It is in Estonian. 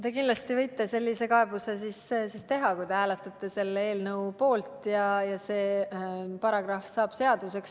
Te kindlasti võite sellise kaebuse teha, kui te hääletate selle eelnõu poolt ja see eelnõu saab seaduseks.